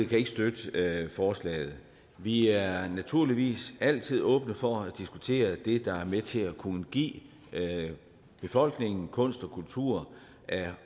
kan ikke støtte forslaget vi er naturligvis altid åbne for at diskutere det der er med til at kunne give befolkningen kunst og kultur af